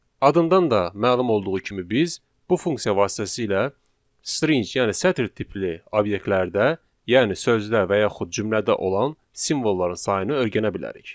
Adından da məlum olduğu kimi biz bu funksiya vasitəsilə string, yəni sətr tipli obyektlərdə, yəni sözdə və yaxud cümlədə olan simvolların sayını öyrənə bilərik.